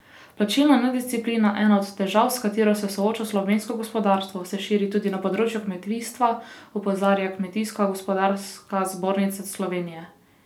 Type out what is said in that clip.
Plačilna nedisciplina, ena od težav, s katero se sooča slovensko gospodarstvo, se širi tudi na področju kmetijstva, opozarja Kmetijsko gozdarska zbornica Slovenije.